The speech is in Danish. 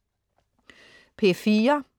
P4: